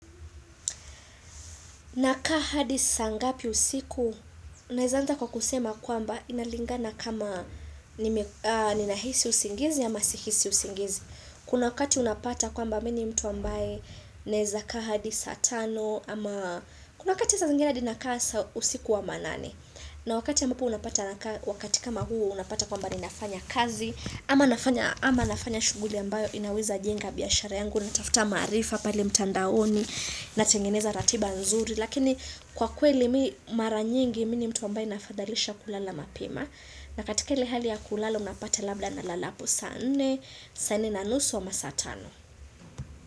Ninakaa hadi saa ngapi usiku, ninaweza hata kwa kusema kwamba inalingana kama nina hisi usingizi ama si hisi usingizi. Kuna wakati unapata kwamba mimi ni mtu ambaye, naweza kaa hadi saa tano ama kuna wakati saa zingine hadi nakaa usiku wa manane. Na wakati ya ambapo unapata wakati kama huu unapata kwamba ni nafanya kazi, Ama nafanya shughuli ambayo inaweza jenga biashara yangu na tafuta maarifa pale mtandaoni na tengeneza ratiba nzuri. Lakini kwa kweli maranyingi mimi ni mtu ambaye ninafadhalisha kulala mapema. Na katika ile hali ya kulala unapata labda na lalapo saa nne, saa nne na nusu ama saatano.